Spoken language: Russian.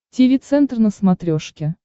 тиви центр на смотрешке